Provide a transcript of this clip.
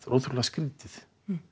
ótrúlega skrítið